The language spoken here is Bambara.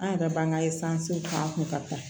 An yɛrɛ b'an ka k'an kun ka taa